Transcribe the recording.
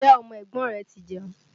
Ǹjẹ́ ọmọ ẹ̀gbọ́n rẹ ti jẹun?